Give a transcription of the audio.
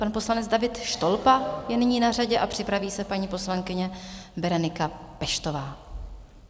Pan poslanec David Štolpa je nyní na řadě a připraví se paní poslankyně Berenika Peštová.